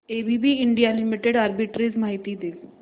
ABB India limited arbitrage माहिती दे